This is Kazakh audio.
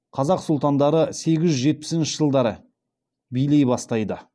қазақ сұлтандары сегіз жүз жетпісінші жылдары билей бастайды